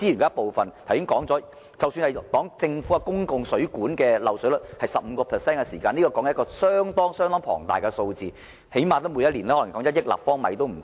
剛才說過，即使政府公共水管的漏水率是 15%， 但亦是一個相當龐大的數字，即每年起碼約1億立方米的水。